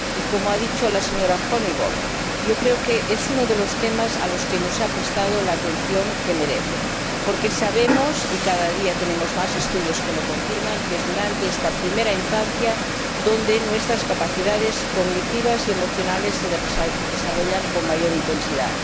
Como ha dicho la señora Honeyball, yo creo que es uno de los temas a los que no se ha prestado la atención que se merece, porque sabemos —y cada día tenemos más estudios que lo confirman— que es durante la primera infancia cuando nuestras capacidades cognitivas y emocionales se desarrollan con mayor intensidad.